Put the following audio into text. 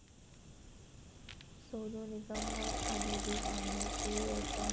सोनू निगमवर आली भीक मागण्याची वेळ पण...